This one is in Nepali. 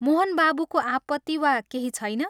मोहन बाबूको आपत्ति वा केही छैन?